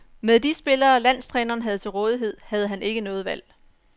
Med de spillere, den landstræneren havde til rådighed, havde han ikke noget valg.